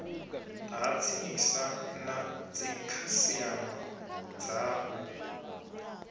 ha tsinisa na dzikhasiama dzao